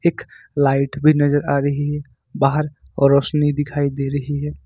एक लाइट भी नजर आ रही है बाहर और रोशनी दिखाई दे रही है।